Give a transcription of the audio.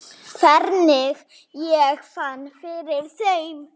Hvernig ég fann fyrir þeim?